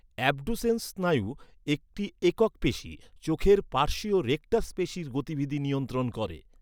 Abducens স্নায়ু একটি একক পেশী, চোখের পার্শ্বীয় রেকটাস পেশীর গতিবিধি নিয়ন্ত্রণ করে।